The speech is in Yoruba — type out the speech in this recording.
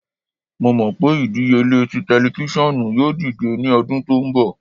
Mo mọ pe idiyele ti tẹlifisiọnu yoo dide ni ọdun to nbọ